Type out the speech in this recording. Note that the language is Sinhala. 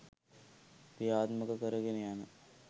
ක්‍රියාත්මක කරගෙන යන